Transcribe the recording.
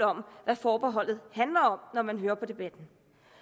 om hvad forbeholdet handler om når man hører på debatten